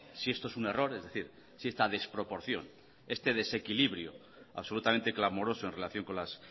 si esto es un error es decir si esta desproporción este desequilibrio absolutamente clamoroso en relación con las